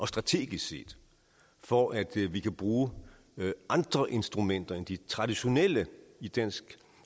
strategisk set for at vi kan bruge andre instrumenter end de traditionelle i dansk